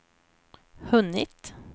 hunnit